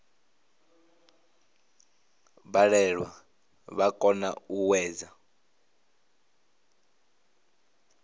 balelwa vha kona u hwedza